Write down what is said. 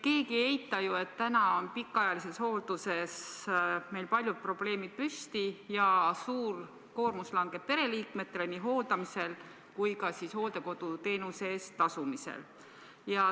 Keegi ei eita ju, et täna on pikaajalises hoolduses meil palju probleeme ja suur koormus langeb pereliikmetele nii hooldamisel kui ka hooldekoduteenuse eest tasumisel.